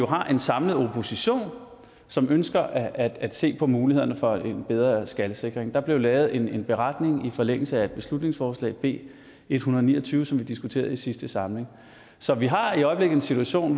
har jo en samlet opposition som ønsker at at se på mulighederne for en bedre skalsikring der blev lavet en beretning i forlængelse af beslutningsforslag b en hundrede og ni og tyve som vi diskuterede i sidste samling så vi har i øjeblikket en situation